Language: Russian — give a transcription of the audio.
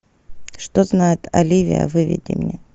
что знает оливия выведи мне